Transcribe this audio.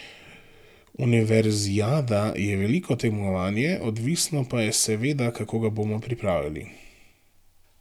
Univerzijada je veliko tekmovanje, odvisno pa je seveda, kako ga bomo pripravili.